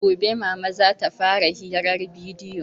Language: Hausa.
Gobe mama zata fara hirar bidiyo